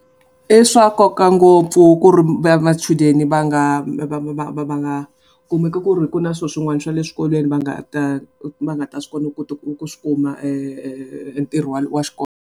I swa nkoka ngopfu ku ri machudeni va nga va nga kumeki ku ri ku na swilo swin'wana swa le swikolweni va nga ta va nga ta kona kota ku ku swi kuma ntirho wa wa xikolo.